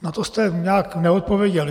Na to jste nějak neodpověděl.